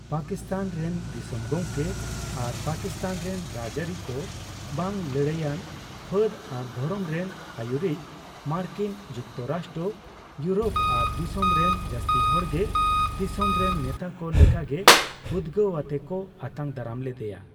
ᱯᱟᱠᱤᱥᱛᱷᱟᱱ ᱨᱮᱱ ᱫᱤᱥᱚᱢ ᱜᱚᱢᱠᱮ ᱟᱨ ᱯᱟᱠᱤᱥᱛᱷᱟᱱ ᱨᱮᱱ ᱨᱟᱡᱟᱹᱨᱤ ᱠᱚ ᱵᱟᱝ ᱞᱟᱹᱲᱦᱟᱹᱭ ᱟᱱ ᱯᱷᱟᱹᱫ ᱟᱨ ᱫᱷᱚᱨᱚᱢ ᱨᱮᱱ ᱟᱣᱩᱨᱤᱡ, ᱢᱟᱨᱠᱤᱱ ᱡᱩᱠᱛᱚᱨᱟᱥᱴᱚ, ᱤᱭᱳᱨᱳᱯ ᱟᱨ ᱫᱤᱥᱚᱢ ᱨᱮᱱ ᱡᱟᱥᱛᱤ ᱦᱚᱲ ᱜᱮ ᱫᱤᱥᱚᱢ ᱨᱮᱱ ᱱᱮᱛᱟ ᱠᱚ ᱞᱮᱠᱟᱜᱮ ᱩᱫᱜᱟᱹᱣ ᱟᱛᱮ ᱠᱚ ᱟᱛᱟᱝ ᱫᱟᱨᱟᱢ ᱞᱮᱫᱮᱭᱟ ᱾